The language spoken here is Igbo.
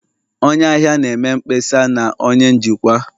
Onye ahịa na-eme mkpesa na onye njikwa